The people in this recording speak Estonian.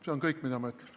See on kõik, mida ma ütlen.